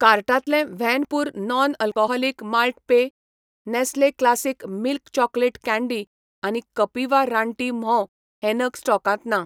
कार्टांतले व्हॅन पूर नॉन अल्कोहोलिक माल्ट पेय, Nestle classic milk chocolate candy आनी कपिवा रानटी म्होंव हे नग स्टॉकांत ना